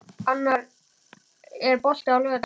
Annar, er bolti á laugardaginn?